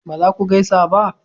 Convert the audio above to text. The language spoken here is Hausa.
ba za ku gaisa ba